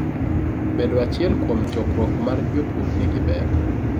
bedo achiel kuom chokruok mar jopur nigi ber